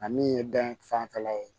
A min ye dan fanfɛla ye